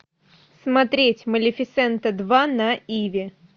смотреть малефисента два на иви